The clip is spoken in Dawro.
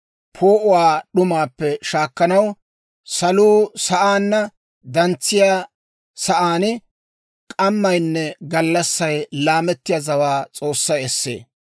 Poo'uwaa d'umaappe shaakkanaw, saluu sa'aanna dantsettiyaa sa'aan k'ammaynne gallassay laamettiyaa zawaa S'oossay essee.